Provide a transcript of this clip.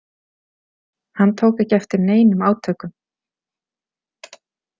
Hann tók ekki eftir neinum átökum.